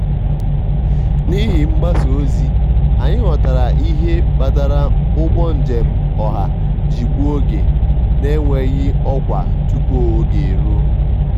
n'ihi mgbasa ozi anyị ghọtara ihe kpatara ụgbọ njem ọha ji gbuo oge na-enweghị ọkwa tupu oge e ruo.